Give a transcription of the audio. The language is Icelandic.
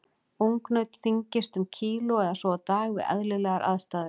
Ungnaut þyngist um kíló eða svo á dag við eðlilegar aðstæður.